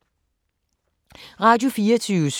Radio24syv